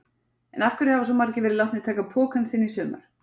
En af hverju hafa svona margir verið látnir taka pokann sinn í sumar?